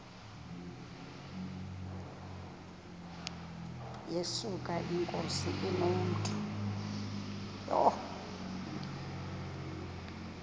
yesuka inkosi inomntu